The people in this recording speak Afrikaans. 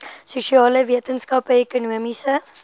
sosiale wetenskappe ekonomiese